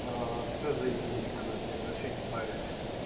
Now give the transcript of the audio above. а все заибись короче вообще не парюсь